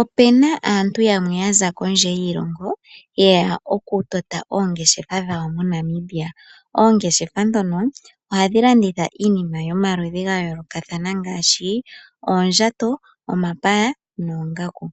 Opu na aantu yamwe ya za kondje yiilongo ye ya okutota oongeshefa dhawo moNamibia. Oongeshefa ndhono ohadhi landitha iinima yomaludhi ga yoolokathana ngaashi oondjato, omapaya noongaku.